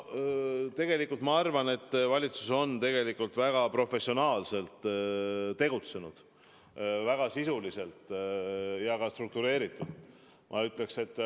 Tegelikult ma arvan, et valitsus on väga professionaalselt tegutsenud, väga sisuliselt ja struktureeritult.